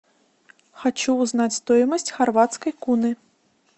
хочу узнать стоимость хорватской куны